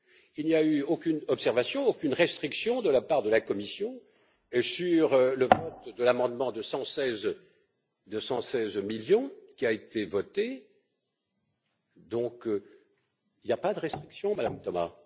Il n'y a eu aucune observation, aucune restriction de la part de la Commission, sur le vote de l'amendement de 116 millions qui a été voté, donc il n'y a pas de restrictions, Madame Thomas.